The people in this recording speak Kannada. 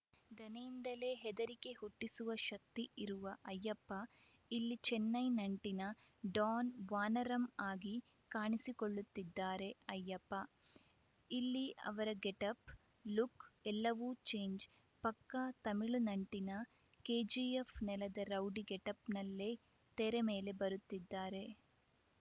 ದನಿಯಿಂದಲೇ ಹೆದರಿಕೆ ಹುಟ್ಟಿಸುವ ಶಕ್ತಿ ಇರುವ ಅಯ್ಯಪ್ಪ ಇಲ್ಲಿ ಚೆನ್ನೈ ನಂಟಿನ ಡಾನ್‌ ವಾನರಮ್‌ ಆಗಿ ಕಾಣಿಸಿಕೊಳ್ಳುತ್ತಿದ್ದಾರೆ ಅಯ್ಯಪ್ಪ ಇಲ್ಲಿ ಅವರ ಗೆಟಪ್‌ ಲುಕ್‌ ಎಲ್ಲವೂ ಚೇಂಜ್‌ ಪಕ್ಕಾ ತಮಿಳು ನಂಟಿನ ಕೆಜಿಎಫ್‌ ನೆಲದ ರೌಡಿ ಗೆಟಪ್‌ನಲ್ಲೇ ತೆರೆ ಮೇಲೆ ಬರುತ್ತಿದ್ದಾರೆ